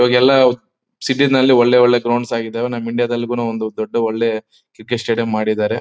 ಈವಾಗೆಲ್ಲ ಸಿಟಿ ನಲ್ಲಿ ಒಳ್ಳೆ ಒಳ್ಳೆ ಗ್ರೌಂಡ್ಸ್ ಆಗಿದ್ದವೇ ನಮ್ ಇಂಡಿಯಾ ದಲ್ಲೂ ದೊಡ್ಡ ಒಂದು ಒಳ್ಳೆ ಕ್ರಿಕೆಟ್ ಸ್ಟೇಡಿಯಂ ಮಾಡಿದ್ದಾರೆ